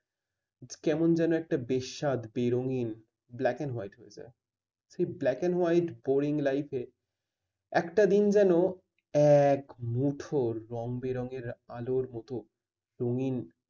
কেমন যেন একটা বেস্বাদ বেরঙিন black and white হয়ে যায়। ঠিক সেই black and white boring life এ একটা দিন যেন এক মুঠর রংবেরঙের আলোর মত রঙিন